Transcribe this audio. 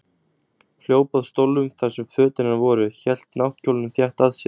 Hljóp að stólnum þar sem fötin hennar voru, hélt náttkjólnum þétt að sér.